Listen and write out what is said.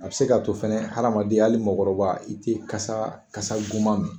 A bɛ se k'a to fɛnɛ hadamaden hali mɔgɔkɔrɔba i tɛ kasa kasa goman mɛn